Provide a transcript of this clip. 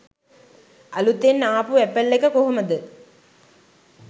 අලුතෙන් ආපු ඇපල් එක කොහොමද